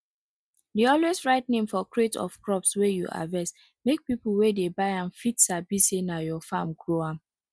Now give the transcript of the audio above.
dey always write name for crate of crop wey you harvest make people wey dey buy am fit sabi say na your farm grow am